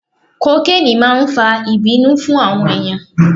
Kokeni máa ń fa ìbínú fún àwọn ènìyàn.